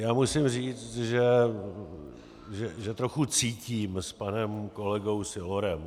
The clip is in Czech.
Já musím říct, že trochu cítím s panem kolegou Sylorem.